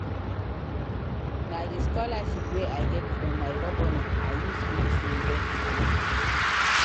Na di scholarship wey I get from my governor I use finish university.